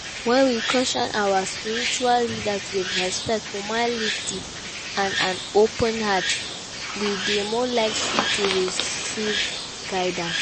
When we question our spiritual leaders with respect, humility and an open heart, we dey more likely to recieve guildance.